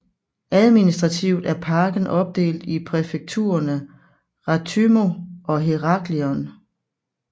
Administrativt er parken opdelt i præfekturerne Rethymno og Heraklion